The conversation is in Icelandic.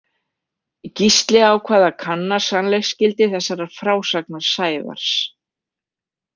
Gísli ákvað að kanna sannleiksgildi þessarar frásagnar Sævars.